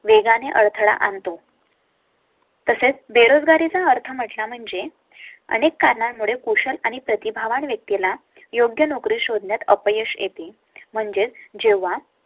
वेगाने अडथळा आणतो . तसेच बेरोजगारी चा अर्थ म्हणजे अनेक कारणां मुळे कुशल आणि प्रतिभा वान व्यक्ती ला योग्य नोकरी शोधण्यात अपयश येते. म्हणजे जेव्हा